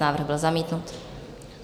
Návrh byl zamítnut.